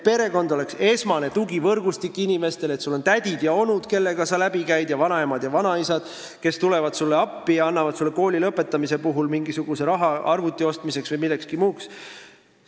Perekond peaks olema inimestele esmane tugivõrgustik, et sul on tädid ja onud, kellega sa läbi käid, ning vanaemad ja vanaisad, kes tulevad sulle appi ja annavad sulle kooli lõpetamise puhul raha arvuti ostmiseks või millekski muuks.